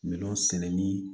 Minɛn sɛnɛ ni